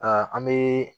an bɛ